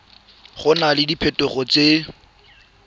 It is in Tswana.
go na le diphetogo tse